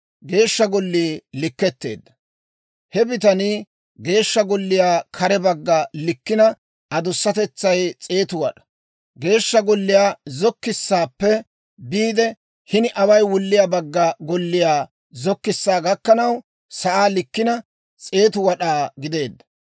He bitanii Geeshsha Golliyaa kare bagga likkina adusatetsay 100 wad'aa. Geeshsha Golliyaa zokkissaappe biide, hini away wulliyaa bagga golliyaa zokkissaa gakkanaw sa'aa likkina, 100 wad'aa gideedda.